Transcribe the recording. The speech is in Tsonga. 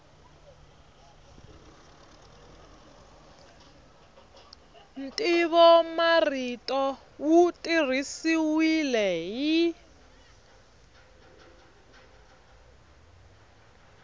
ntivomarito wu tirhisiwile hi